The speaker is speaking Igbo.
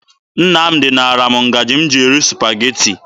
Nnamdị naara m ngaji m ji eri Supageti.